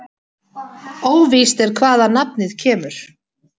Óvíst er hvaðan nafnið kemur.